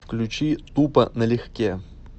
включи тупо на легке